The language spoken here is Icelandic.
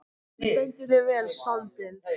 Þú stendur þig vel, Sandel!